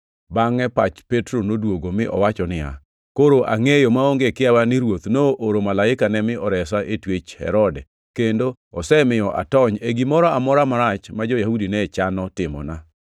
Bangʼe pach Petro noduogo mi owacho niya, “Koro angʼeyo maonge kiawa ni Ruoth nooro malaikane mi oresa e twech Herode, kendo osemiyo atony e gimoro amora marach ma jo-Yahudi ne chano timona.”